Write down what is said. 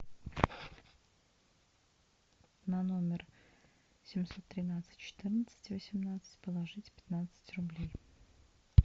на номер семьсот тринадцать четырнадцать восемнадцать положить пятнадцать рублей